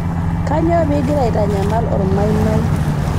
kanyoo piigira aitanyamal ormaimai